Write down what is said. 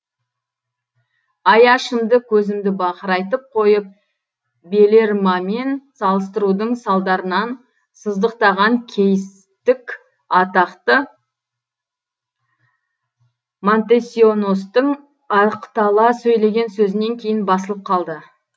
аяшымды көзімді бақырайтып қойып белермамен салыстырудың салдарынан сыздықтаған кейістік атақты монтесионостың ақтала сөйлеген сөзінен кейін басылып қалды